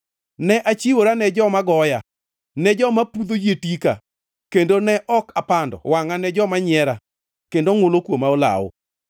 Ne achiwora ne joma goya, ne joma pudho yie tika; kendo ne ok apando wangʼa ne joma nyiera kendo ngʼulo kuoma olawo.